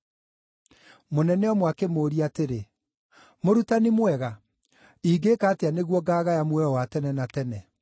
Mũnene ũmwe akĩmũũria atĩrĩ, “Mũrutani mwega, ingĩĩka atĩa nĩguo ngaagaya muoyo wa tene na tene?”